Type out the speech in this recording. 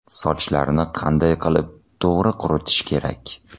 Sochlarni qanday qilib to‘g‘ri quritish kerak?.